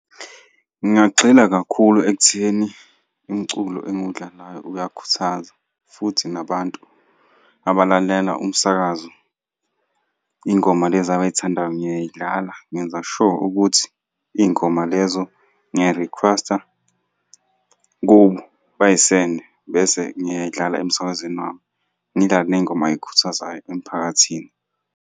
Ngingagxila kakhulu ekutheni umculo engiwudlalayo uyakhuthaza futhi nabantu abalalela umsakazo, iy'ngoma lezi abay'thandayo ngiyay'dlala ngenza sure ukuthi iy'ngoma lezo ngiyay'rikhwesta kubo, bay'sende bese ngiyay'dlala emsakazweni wami. Ngidlale ney'ngoma ey'khuthazayo emphakathini.